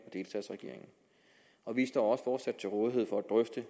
og delstatsregeringen vi står også fortsat til rådighed for at drøfte